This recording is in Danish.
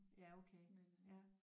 Ja okay ja